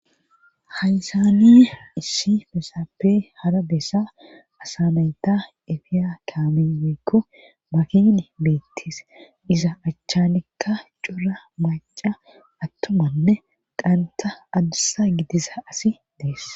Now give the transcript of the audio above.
Hayssani issi saappe hara bessa asa nayta efiya kaamey makiinay beetes iza achanikka cora macca atuumanne dhantta adussa gidiza asay dees.